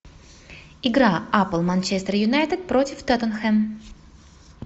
игра апл манчестер юнайтед против тоттенхэм